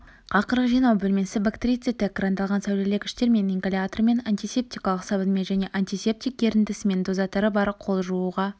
қақырық жинау бөлмесі бактерицидті экрандалған сәулелегіштермен ингалятормен антисептикалық сабынмен және антисептик ерітіндісімен дозаторы бар қол жууға